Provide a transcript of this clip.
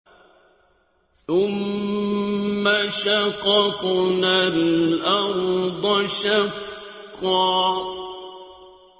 ثُمَّ شَقَقْنَا الْأَرْضَ شَقًّا